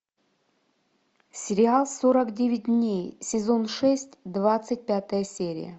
сериал сорок девять дней сезон шесть двадцать пятая серия